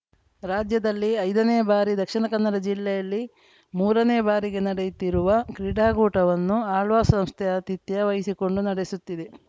ರಾಜ್ಯದಲ್ಲಿ ಐದನೇ ಬಾರಿ ದಕ್ಷಿಣಕನ್ನಡ ಜಿಲ್ಲೆಯಲ್ಲಿ ಮೂರನೇ ಬಾರಿಗೆ ನಡೆಯುತ್ತಿರುವ ಕ್ರೀಡಾಕೂಟವನ್ನು ಆಳ್ವಾಸ್‌ ಸಂಸ್ಥೆ ಆತಿಥ್ಯ ವಹಿಸಿಕೊಂಡು ನಡೆಸುತ್ತಿದೆ